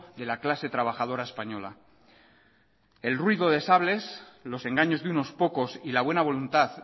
de la clase trabajadora española el ruido de sables los engaños de unos pocos y la buena voluntad